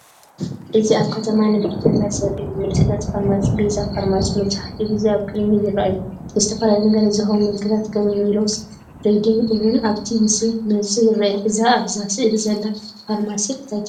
እዚ ኣብ ከተማ ንግዳዊ ቦታ ዘርኢ እዩ። ምልክታት ፋርማሲ "ቤዛ ፋርማሲ" መብዛሕትኡ ግዜ ኣብ ቅድሚት ይረኣዩ። ንዝተፈላለዩ ነጋዶ ዝኸውን ምልክታት ከም "ሜሎስ ትሬዲንግ" እውን ኣብቲ ምስሊ ብንጹር ይርአ። እዛ ኣብዛ ስእሊ ዘላ ፋርማሲ እንታይ ትበሃል?